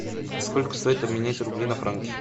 сколько стоит обменять рубли на франки